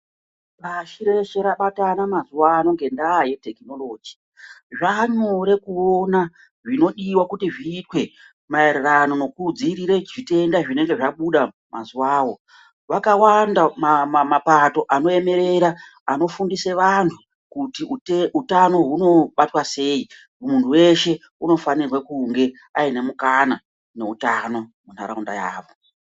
Pashi reshe rabatana mazuwa ano ngendaa ye tekinoloji. Zvaanyore kuona zvinodiwa kuti zviitwe maererano nekudzivirire zvitenda zvinenge zvabuda mazuwawo. Vakawanda mapato anoemerera, anofundise vantu kuti utano hunobatwa sei. Muntu weshe unofanirwe kunge aine mukana neutano muntaraunda yavo.